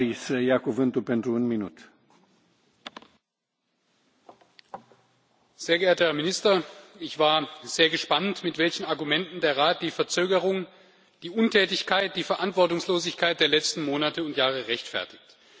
Herr Präsident! Sehr geehrter Herr Minister, ich war sehr gespannt, mit welchen Argumenten der Rat die Verzögerung, die Untätigkeit, die Verantwortungslosigkeit der letzten Monate und Jahre rechtfertigt.